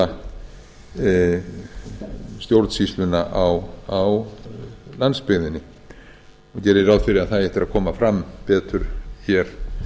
að efla stjórnsýsluna á landsbyggðinni og geri ég ráð fyrir að það eigi eftir að koma fram betur hér